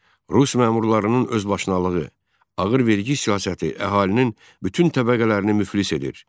Rus məmurlarının özbaşınalığı, ağır vergi siyasəti əhalinin bütün təbəqələrini müflis edir.